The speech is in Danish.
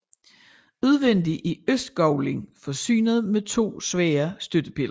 Udvendig er østgavlen forsynet med to svære støttepiller